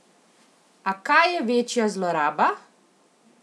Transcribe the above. A kaj je večja zloraba?